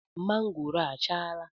Mangoro a o achala?